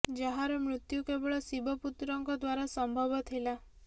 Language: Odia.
ଯାହାର ମୃତ୍ୟୁ କେବଳ ଶିବ ପୁତ୍ରଙ୍କ ଦ୍ବାରା ସମ୍ଭବ ଥିଲା